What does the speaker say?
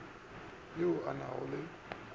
ao a na go le